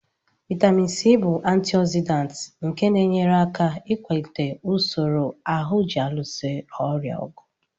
Vitamin C bụ antioxidant nke na-enyere aka ịkwalite usoro ahụ ji alụso ọrịa ọgụ.